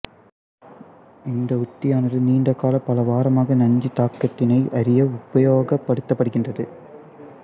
இந்த உத்தியானது நீண்டகால பல வாரமாத நஞ்சுத் தாக்கத்தினை அறிய உபயோகப்படுத்தப்படுகின்றது